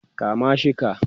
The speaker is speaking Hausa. kama shi ka!